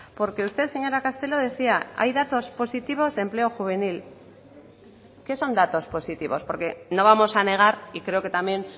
porque usted señora castelo decía hay datos positivos de empleo juvenil qué son datos positivos porque no vamos a negar y creo que también